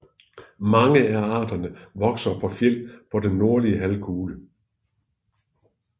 Mange af arterne vokser på fjeld på den nordlige halvkugle